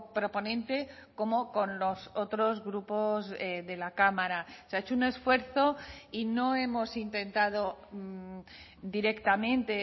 proponente como con los otros grupos de la cámara se ha hecho un esfuerzo y no hemos intentado directamente